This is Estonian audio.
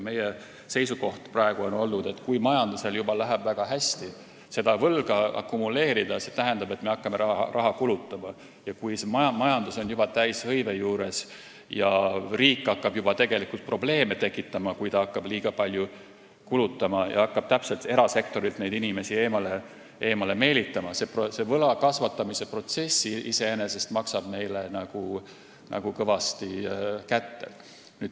Meie seisukoht on praegu olnud selline, et kui majandusel läheb juba väga hästi ja me hakkame võlga akumuleerima, st raha kulutama, ning kui majandus on juba täishõive juures ja riik hakkab erasektorist inimesi eemale meelitama, siis tekivad probleemid ja võla kasvatamise protsess iseenesest maksab meile kõvasti kätte.